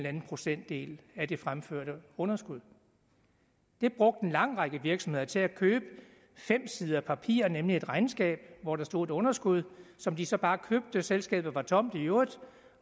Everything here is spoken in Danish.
anden procentdel af det fremførte underskud det brugte en lang række virksomheder til at købe fem sider papir nemlig et regnskab hvor der stod et underskud som de så bare købte selskabet var tomt i øvrigt